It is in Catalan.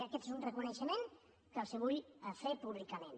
i aquest és un reconeixement que els vull fer públicament